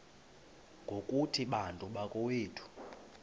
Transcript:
ngokuthi bantu bakowethu